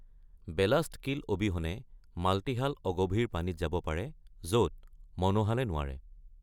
Ballast keel অবিহনে multihull অগভীৰ পানীত যাব পাৰে য’ত মনোহালে নোৱাৰে।